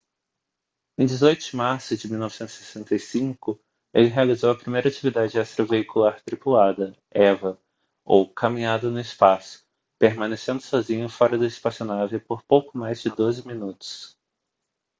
em 18 de março de 1965 ele realizou a primeira atividade extraveicular tripulada eva ou caminhada no espaço permanecendo sozinho fora da espaçonave por pouco mais de doze minutos